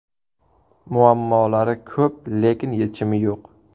Muammolari ko‘p, lekin yechimi yo‘q.